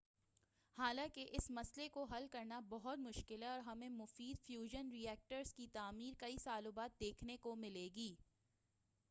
حالانکہ اس مسئلہ کو حل کرنا بہت مشکل ہے اور ہمیں مفید فیوژن ری ایکٹرز کی تعمیر کئی سالوں بعد دیکھنے کو ملے گی